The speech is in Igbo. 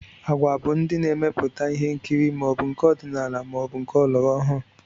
Agwa bụ ndị na-emepụta ihe nkiri, ma ọ bụ nke ọdinala maọbụ nke ọlọrọọhụụ